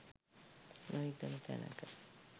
නොහිතන තැනක